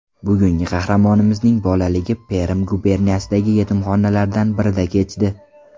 Bugungi qahramonimizning bolaligi Perm guberniyasidagi yetimxonalardan birida kechdi.